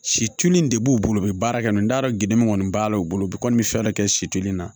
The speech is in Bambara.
Situlin de b'u bolo u bɛ baara kɛ n'o ye n t'a dɔn gini kɔni b'a la u bolo bi kɔni fɛn dɔ kɛ situnin na